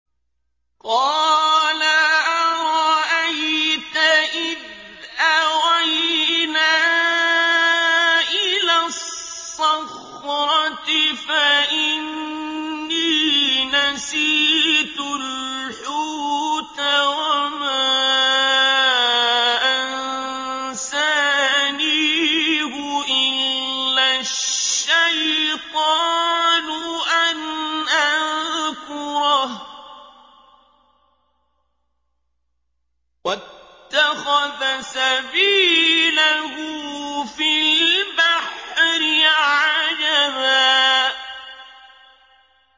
قَالَ أَرَأَيْتَ إِذْ أَوَيْنَا إِلَى الصَّخْرَةِ فَإِنِّي نَسِيتُ الْحُوتَ وَمَا أَنسَانِيهُ إِلَّا الشَّيْطَانُ أَنْ أَذْكُرَهُ ۚ وَاتَّخَذَ سَبِيلَهُ فِي الْبَحْرِ عَجَبًا